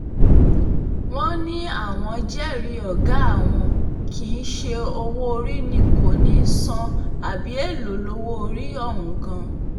wọ́n ní àwọn jẹ́rìí ọ̀gá àwọn kì í ṣe owó-orí ni kò ní í san àbí èèlò lowó-orí ọ̀hún gan-an